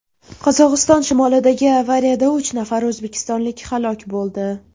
Qozog‘iston shimolidagi avariyada uch nafar o‘zbekistonlik halok bo‘ldi.